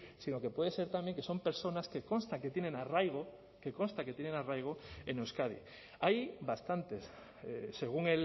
sino que pueden ser también que son personas que consta que tienen arraigo que consta que tienen arraigo en euskadi hay bastantes según